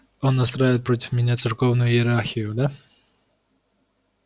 он настраивает против меня церковную иерархию да